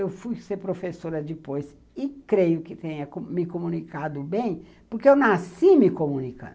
Eu fui ser professora depois e creio que tenha me comunicado bem, porque eu nasci me comunicando.